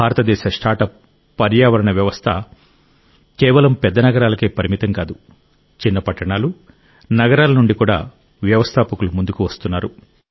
భారతదేశ స్టార్ట్అప్ పర్యావరణ వ్యవస్థ కేవలం పెద్ద నగరాలకే పరిమితం కాదు చిన్న పట్టణాలు నగరాల నుండి కూడా వ్యవస్థాపకులు ముందుకు వస్తున్నారు